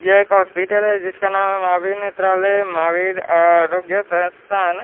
ये एक हॉस्पिटल है जिसका नाम है. महावीर नेत्रालय महावीर आरोग्य संस्थान--